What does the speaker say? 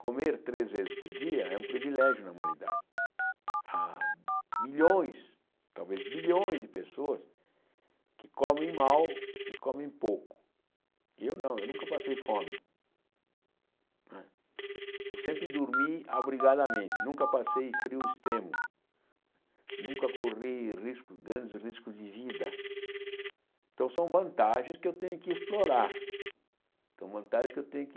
comer três vezes por dia é um privilégio na humanidade há milhões talvez bilhões de pessoas que comem mal e comem pouco eu não, eu nunca passei fome não é eu sempre dormi abrigadamente nunca passei frio extremo nunca corri risco grandes riscos de vida então são vantagens que eu tenho que explorar são vantagens que eu tenho que